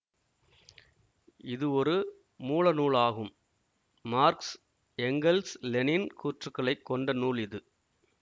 இது ஒரு மூல நூல் ஆகும் மார்க்ஸ் எங்கெல்ஸ் லெனின் கூற்றுக்களைக் கொண்ட நூல் இது